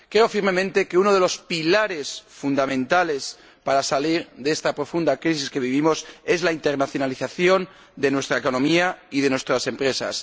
Creo firmemente que uno de los pilares fundamentales para salir de esta profunda crisis que vivimos es la internacionalización de nuestra economía y de nuestras empresas.